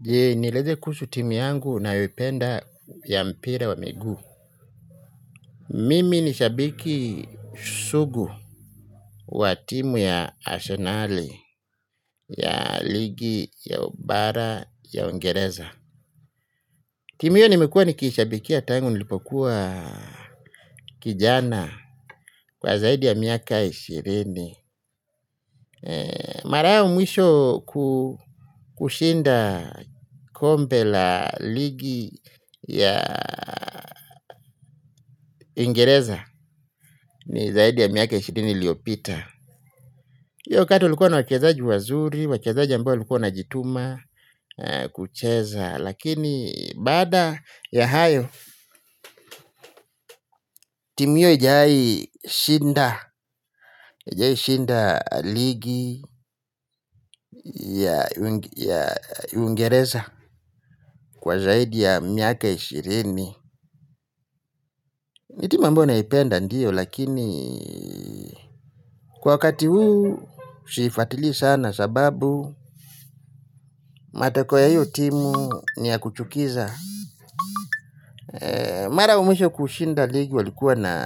Je, nieleze kuhusu timu yangu ninayoipenda ya mpira wa miguu. Mimi ni shabiki sugu wa timu ya asenali ya ligi ya ubara ya uingereza. Timu hio nimekuwa nikishabikia tangu nilipokuwa kijana kwa zaidi ya miaka ishirini. Mara yao mwisho kushinda kombe la ligi ya uingereza. Ni zaidi ya miaka ishirini iliopita. Iyo wakati ulikuwa na wachezaji wazuri. Wachezaji ambao walikuwa wanajituma Kucheza. Lakini baada ya hayo. Timu hiyo hajawai shinda haijawai shinda ligi Ya Uingereza. Kwa zaidi ya miaka ishirini. Ni timu ambayo naipenda ndiyo. Lakini kwa wakati huu siifatili sana sababu matakwa ya hiyo timu ni ya kuchukiza. Mara wa mwisho kushinda ligi walikuwa na